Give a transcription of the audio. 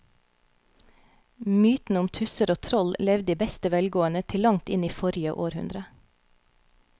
Mytene om tusser og troll levde i beste velgående til langt inn i forrige århundre.